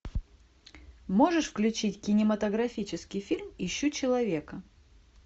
можешь включить кинематографический фильм ищу человека